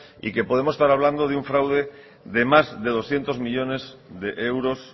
y que podemos estar hablando de un fraude de más de doscientos millónes de euros